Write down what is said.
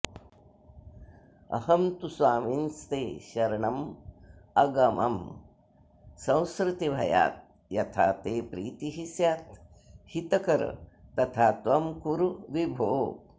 अहं तु स्वामिंस्ते शरणमगमं संसृतिभयाद्यथा ते प्रीतिः स्याद्धितकर तथा त्वं कुरु विभो